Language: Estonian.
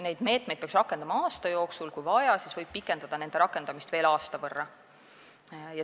Neid meetmeid peaks võtma aasta jooksul, kui vaja, siis võib nende rakendamist pikendada veel aasta võrra.